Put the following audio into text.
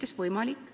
See on võimalik.